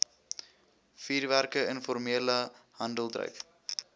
vuurwerke informele handeldryf